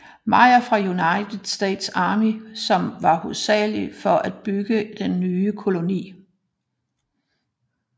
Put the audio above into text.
Meyer fra United States Army som var hovedansvarlig for at bygge den nye koloni